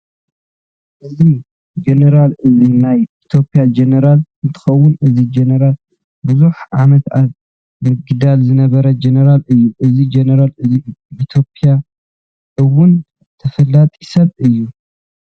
እዚ ጀነራል እዚ ናይ ኢትዮጵያ ጀነራል እንትኮን እዚ ጀነራል ቡዙሕ ዓመት ኣብ ምግዳል ዝነበረ ጀነራል እዩ። እዚ ጀነራል እዚ ብኢትዮጵያ እውን ተፈላጢ ሰብ እዩ።